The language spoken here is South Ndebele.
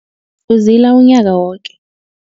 Uzila unyaka woke.